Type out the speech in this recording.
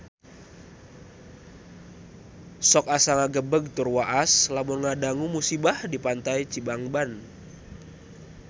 Sok asa ngagebeg tur waas lamun ngadangu musibah di Pantai Cibangban